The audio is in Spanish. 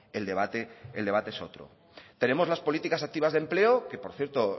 el debate el debate es otro tenemos las políticas activas de empleo que por cierto